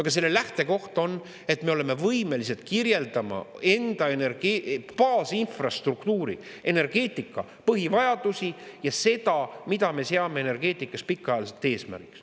Aga selle lähtekoht on, et me oleme võimelised kirjeldama enda baasinfrastruktuuri, energeetika põhivajadusi ja seda, mida me seame energeetikas pikaajaliselt eesmärgiks.